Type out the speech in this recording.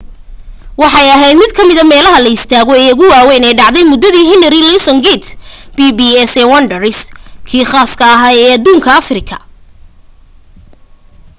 waxay ahayd mid ka mida meelaha la istaago ee ugu waawayn ee dhacday muddadii henry louis gate pps ee wonders kii khaaska ah ee adduunka afrika